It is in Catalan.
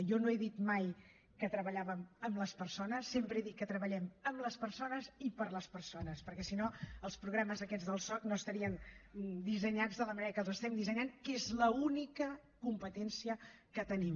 jo no he dit mai que treballàvem amb les persones sempre he dit que treballem amb les persones i per a les persones perquè si no els programes aquests del soc no estarien dissenyats de la manera que els estem dissenyant que és l’única competència que tenim